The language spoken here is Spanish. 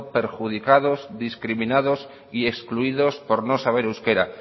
perjudicados discriminados y excluidos por no saber euskera